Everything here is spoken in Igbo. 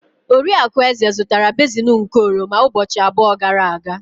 Oriakụ Eze zụtara basin nke oroma ụbọchị abụọ gara aga.